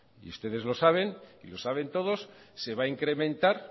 y ustedes lo saben y los saben todos se va a incrementar